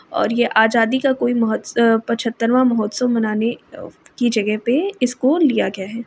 और ये आज़ादी का कोई मोह अ पचहत्तरवां महोत्सव मनाने की जगह पे इसको लिया गया है ।